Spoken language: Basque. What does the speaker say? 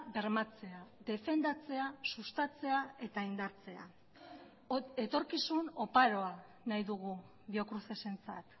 bermatzea defendatzea sustatzea eta indartzea etorkizun oparoa nahi dugu biocrucesentzat